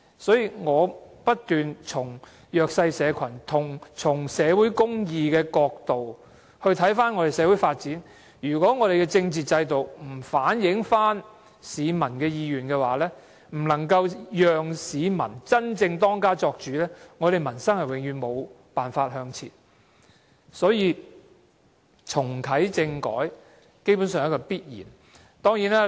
所以，我不斷從弱勢社群、社會公義的角度來看社會發展，如果我們的政治制度不反映市民的意願，不能夠讓市民真正當家作主，我們的民生永遠無法向前，重啟政改基本上是必然的。